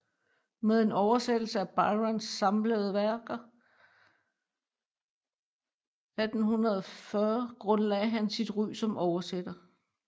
Med en oversættelse af Byrons samtlige værker 1840 grundlagde han sit ry som oversætter